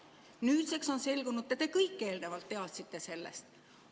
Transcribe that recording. Nüüdseks on selgunud, et te kõik eelnevalt teadsite sellest.